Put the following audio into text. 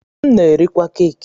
M na-erikwa keki.